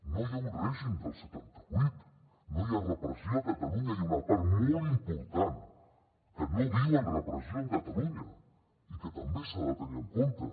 no hi ha un règim del setanta vuit no hi ha repressió a catalunya i una part molt important que no viu amb repressió a catalunya i que també s’ha de tenir en compte